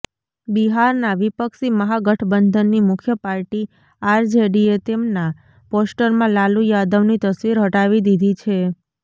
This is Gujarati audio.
બિહારના વિપક્ષી મહા ગઠબંધનની મુખ્ય પાર્ટી આરજેડીએ તેમના પોસ્ટરમાં લાલુ યાદવની તસવીર હટાવી દીધી છે